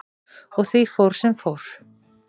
Og því fór sem fór.